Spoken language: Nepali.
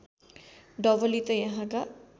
डबली त यहाँका